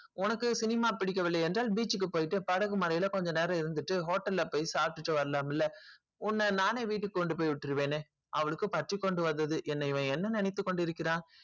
உனக்கு cinema பிடிக்கவில்லை என்றால் beach க்கு போயிட்டு படக்கு மலைல கொஞ்ச நேரம் ஒக்கர்த்துட்டு hotel க்கு போயிடு சாப்பிட்டு வரலாம்ல உன்ன நானே கொண்டு போயி வீட்டு க்கு விற்றுவனே அவளுக்கு கொண்டு வந்தது என்ன இவன் என்ன நினைத்து கொண்டு இறுகிறான்